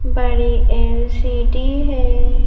बड़ी एलसीडी है।